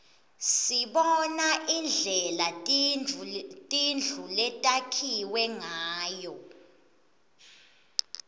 sibona indlela tindlu letakhiwe ngayo